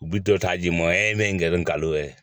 U bi dɔ ta di ma ye n kalo yɛrɛ